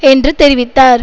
என்று தெரிவித்தார்